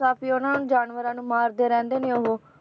~ਸਾਫ਼ੀ ਉਹਨਾਂ ਨੂੰ ਜਾਨਵਰਾਂ ਨੂੰ ਮਾਰਦੇ ਰਹਿੰਦੇ ਨੇ ਉਹ